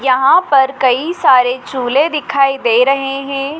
यहाँ पर कई सारे चूल्हे दिखाई दे रहे हैं।